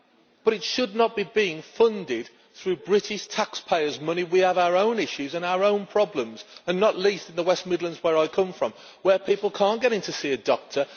But it should not be funded through British taxpayers' money. We have our own issues and our own problems, and not least in the West Midlands where I come from, where people cannot get in to see a doctor